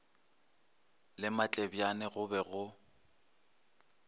le matlebjane go be go